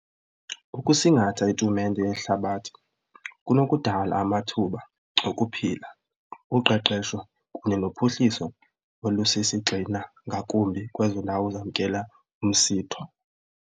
Ukusingatha itumente yehlabathi kunokudala amathuba okuphila, uqeqesho kunye nophuhliso olusisigxina ngakumbi kwezo ndawo zamkela umsitho.